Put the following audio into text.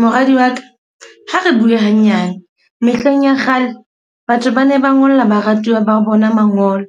Moradi wa ka, ha re bue hanyane. Mehleng ya kgale, batho ba ne ba ngolla baratuwa ba bona mangolo.